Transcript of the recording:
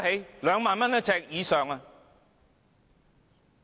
每呎兩萬元以上。